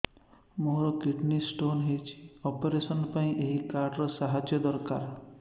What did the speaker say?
ମୋର kidney stone ହଇଛି operation ପାଇଁ ଏହି କାର୍ଡ ର ସାହାଯ୍ୟ ଦରକାର